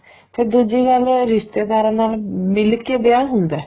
ਤੇ ਦੂਜੀ ਗੱਲ ਰਿਸ਼ਤੇਦਾਰਾ ਨਾਲ ਮਿਲ ਕੇ ਵਿਆਹ ਹੁੰਦਾ